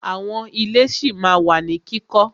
Àwọn ilé ṣí ma wà ní kíkọ́.